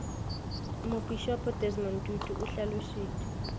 mopišopo desmond tutu o hlalošitše